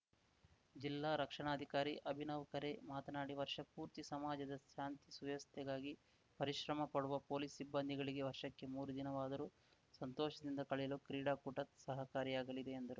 ಜಿಲ್ಲಾ ರಕ್ಷಣಾಧಿಕಾರಿ ಅಭಿನವ್‌ಖರೆ ಮಾತನಾಡಿ ವರ್ಷಪೂರ್ತಿ ಸಮಾಜದ ಶಾಂತಿ ಸುವ್ಯವಸ್ಥೆಗಾಗಿ ಪರಿಶ್ರಮ ಪಡುವ ಪೊಲೀಸ್‌ ಸಿಬ್ಬಂದಿಗಳಿಗೆ ವರ್ಷಕ್ಕೆ ಮೂರು ದಿನವಾದರೂ ಸಂತೋಷದಿಂದ ಕಳೆಯಲು ಕ್ರೀಡಾಕೂಟ ಸಹಕಾರಿಯಾಗಲಿದೆ ಎಂದರು